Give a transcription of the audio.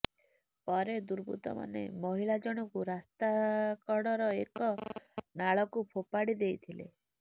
ପରେ ଦୁର୍ବୃତ୍ତମାନେ ମହିଳାଜଣକୁ ରାସ୍ତା କଡ଼ର ଏକ ନାଳକୁ ଫୋଫାଡ଼ି ଦେଇଥିଲେ